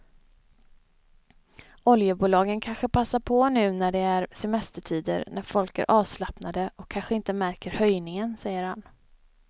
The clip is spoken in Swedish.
Oljebolagen kanske passar på nu när det är semestertider när folk är avslappnade och kanske inte märker höjningen, säger han.